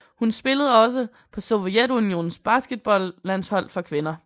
Hun spillede også på Sovjetunionens basketballlandshold for kvinder